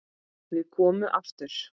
Við komum aftur.